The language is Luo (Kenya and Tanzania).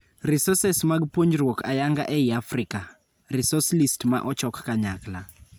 Resources mag puonjruok ayanga ei Afrika: Resource list ma ochok kanyakla.